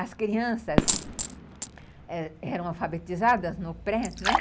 As crianças eram alfabetizadas no pré, né?